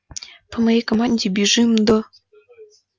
по моей команде бежим до